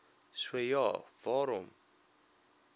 so ja waarom